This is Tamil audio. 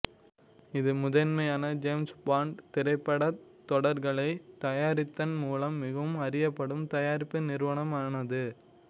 இது முதன்மையாக ஜேம்ஸ் பாண்ட் திரைப்படத் தொடர்களை தயாரித்ததன் மூலம் மிகவும் அறியப்படும் தயாரிப்பு நிறுவனம் ஆனது